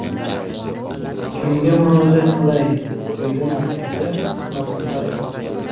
Kimga murojaat qilay”, dedi Nafisa Ismatullayeva.